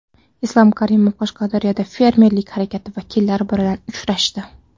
Islom Karimov Qashqadaryoda fermerlik harakati vakillari bilan uchrashdi.